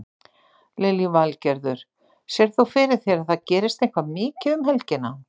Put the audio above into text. Lillý Valgerður: Sérð þú fyrir þér að það gerist eitthvað mikið um helgina?